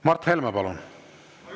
Mart Helme, palun!